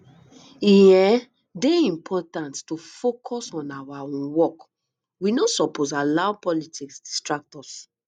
e um dey important to focus on our um work we no suppose allow politics distract us